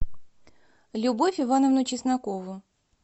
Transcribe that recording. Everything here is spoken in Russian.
любовь ивановну чеснокову